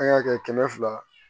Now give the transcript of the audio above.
An y'a kɛ kɛmɛ fila